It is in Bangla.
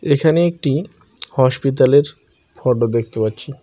এখানে একটি হসপিতালের ফোটো দেখতে পাচ্ছি।